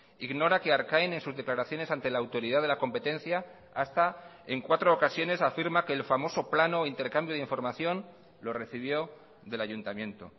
ignora que arcain en susdeclaraciones ante la autoridad de la competencia hasta en cuatro ocasiones afirma que el famoso plano o intercambio de información lo recibió del ayuntamiento